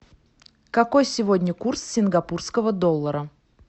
какой сегодня курс сингапурского доллара